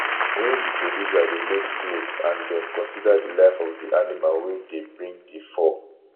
when di producer dey make cloth and dem consider di life of di animal wey dey bring di fur